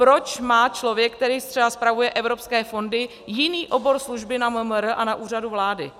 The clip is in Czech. Proč má člověk, který třeba spravuje evropské fondy, jiný obor služby na MMR a na Úřadu vlády?